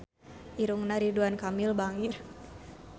Irungna Ridwan Kamil bangir